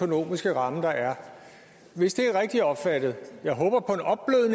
økonomiske ramme der er hvis det er rigtigt opfattet jeg håber på